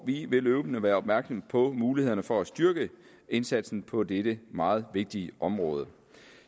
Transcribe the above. vi vil løbende være opmærksom på mulighederne for at styrke indsatsen på dette meget vigtige område